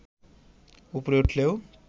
ওপরে উঠলেও